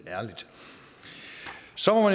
så må